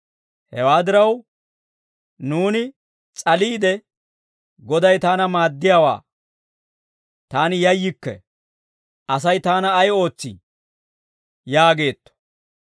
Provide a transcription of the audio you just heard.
Hewaa diraw, nuuni s'aliide, «Goday taana maaddiyaawaa; taani yayyikke. Asay taana ay ootsii?» yaageetto.